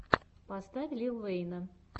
поставь лил вэйна